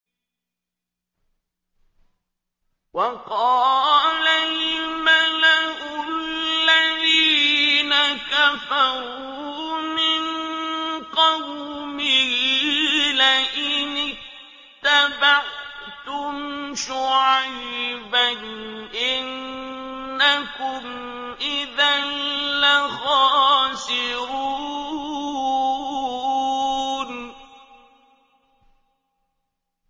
وَقَالَ الْمَلَأُ الَّذِينَ كَفَرُوا مِن قَوْمِهِ لَئِنِ اتَّبَعْتُمْ شُعَيْبًا إِنَّكُمْ إِذًا لَّخَاسِرُونَ